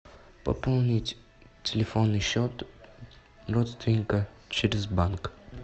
пополнить телефонный счет родственника через банк